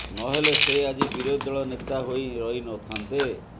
ନହେଲେ ସେ ଆଜି ବିରୋଧୀ ଦଳ ନେତା ହୋଇ ରହିନଥାନ୍ତେ